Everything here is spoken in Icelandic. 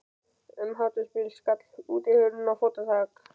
Um hádegisbil skall útihurðin og fótatak